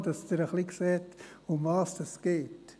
Nur, damit Sie in etwa sehen, worum es geht.